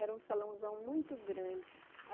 Era um salãozão muito grande.